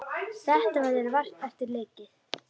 Þetta verður vart eftir leikið.